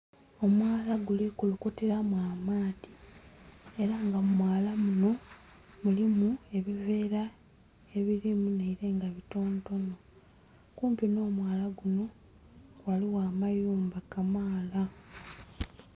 0mwala guli kulukutilamu amaadhi, ela nga mu mwala muno mulimu ebiveera ebirimu nhaile nga bitontono, kumpi n'omwala guno ghaligho amayumba kamaala.